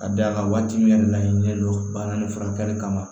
Ka d'a kan waati min laɲini ne don bana ni furakɛli kama